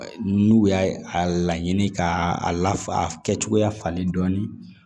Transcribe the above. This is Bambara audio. N'u y'a laɲini k'a la kɛ cogoya falen dɔɔnin